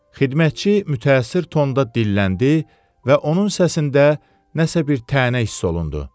Xidmətçi mütaəssir tonda dilləndi və onun səsində nəsə bir tənə hiss olundu.